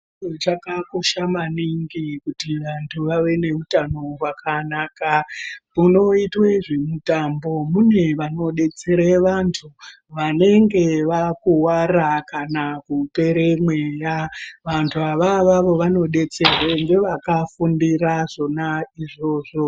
Chiro chakakosha maningi kuti vantu vave neutano hwakanaka munoitwe zvemutambo mune vanodetsere vantu vanenge vakuwara kana kupere mweya vantuvo avavo vanodetserwa ngevakafundire zvona izvozvo.